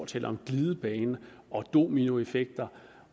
taler om glidebaner om dominoeffekter